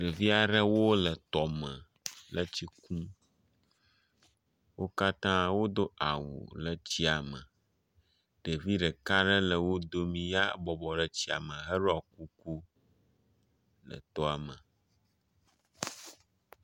Ɖevi aɖewo le tɔme le tsi kum. Wo katã wodo awu le tsia me. Ɖevi ɖeka aɖe le wo dome, ya bɔbɔ ɖe tsia me heɖɔ kuku le tɔa me.